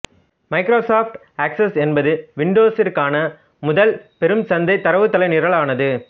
Microsoft Access என்பது விண்டோஸிற்கான முதல் பெரும் சந்தை தரவுத்தள நிரலானது